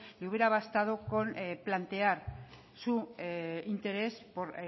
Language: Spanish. que hubiera bastado con plantear su interés por